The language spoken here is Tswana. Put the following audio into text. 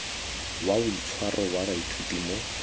wa boitshwaro wa baithuti mo